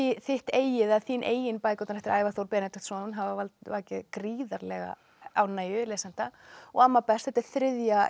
þitt eigið eða þín eigin bækurnar eftir Ævar Þór Benediktsson hafa vakið gríðarlega ánægju lesenda og amma best þetta er þriðja